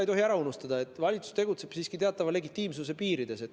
Ei tohi ära unustada, et valitsus tegutseb siiski teatava legitiimsuse piirides.